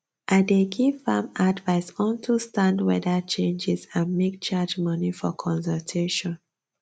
i dey give farm advise on to stand weather changes and make charge money for consultation